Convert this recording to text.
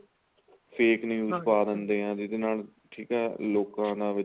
fake views ਪਾ ਦਿੰਦੇ ਏ ਜਿਦੇ ਨਾਲ ਠੀਕ ਏ ਲੋਕਾ ਦਾ ਵਿੱਚ